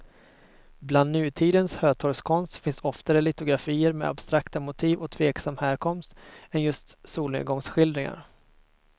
Bland nutidens hötorgskonst finns oftare litografier med abstrakta motiv och tveksam härkomst än just solnedgångsskildringar.